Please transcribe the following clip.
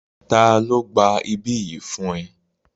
Ta ló gba ibí yìí fún ẹ?